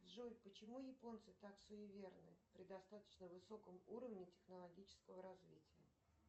джой почему японцы так суеверны при достаточно высоком уровне технологического развития